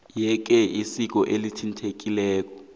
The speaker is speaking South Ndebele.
yeke iziko elithintekileko